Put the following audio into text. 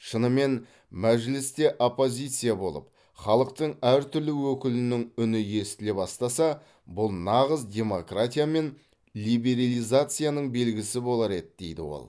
шынымен мәжілісте оппозиция болып халықтың әртүрлі өкілінің үні естіле бастаса бұл нағыз демократия мен либерилизацияның белгісі болар еді дейді ол